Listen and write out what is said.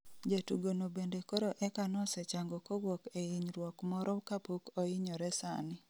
Jatugo no bende koro eka nosechango kowuok e inyruok moro kapok oinyore sani